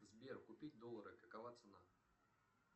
сбер купить доллары какова цена